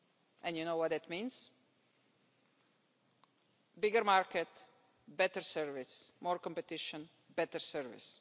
And you know what such rules mean a bigger market, better salaries, more competition, better service.